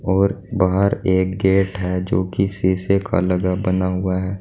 और बाहर एक गेट है जो कि शीशे का लगा बना हुआ है।